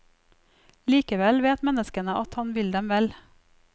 Likevel vet menneskene at han vil dem vel.